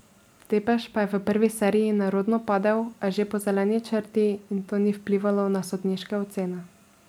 Tepeš pa je v prvi seriji nerodno padel, a že po zeleni črti in to ni vplivalo na sodniške ocene.